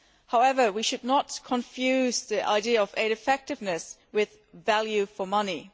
However we should not confuse the idea of aid effectiveness with value for money.